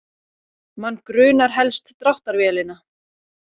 Mann grunar helst dráttarvélina